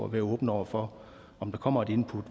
være åbne over for om der kommer input